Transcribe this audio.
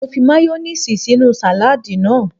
Mo fi mayoníìsì sínú sàládì náà